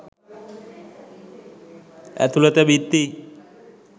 ඇතුළත බිත්ති